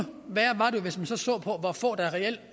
hvis man så så på hvor få der reelt